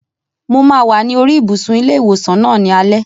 Mo máa wà ní oríi ibùsùn ilé ìwòsàn náà ní alẹ́